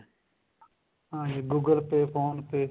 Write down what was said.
ਹਾਂਜੀ google pay phone pay